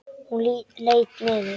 Hún leit niður.